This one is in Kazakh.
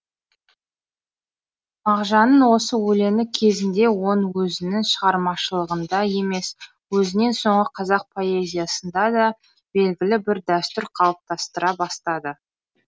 мағжанның осы өлеңі кезінде оның өзінің шығармашылығында емес өзінен соңғы қазақ поэзиясында да белгілі бір дәстүр қалыптастыра бастады